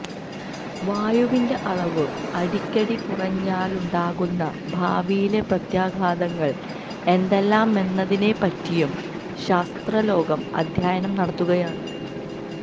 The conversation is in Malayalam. വായുവിന്റെ അളവ് അടിക്കടി കുറഞ്ഞാലു ണ്ടാകുന്ന ഭാവിയിലെ പ്രത്യാഘാതങ്ങൾ എന്തെല്ലാമെന്നതിനെപ്പറ്റിയും ശാസ്ത്രലോകം അദ്ധ്യയനം നടത്തുകയാണ്